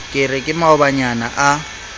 ke re ke maobanyana a